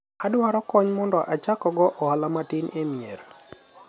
adwaro kony mondo achak go ohala matin e mier